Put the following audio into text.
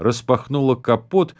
распахнула капот